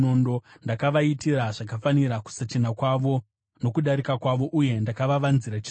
Ndakavaitira zvakafanira kusachena kwavo nokudarika kwavo, uye ndakavavanzira chiso changu.